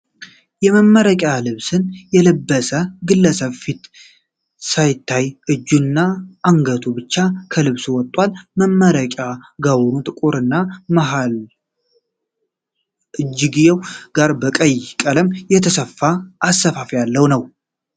የመመረቂያ ልብስን የለበሰ ግለሰብ ፊቱ ሳይታይ እጁ እና አንገቱ ብቻ ከልብሱ ወጥቷል። የመመረቂያ ጋውኑ ጥቁር እና መሃል እና እጅየው ጋር በቀይ ቀለም የተሰፋ አሰፋፍ ያለው ነው።